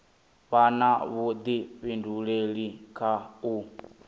vha na vhudifhinduleli kha u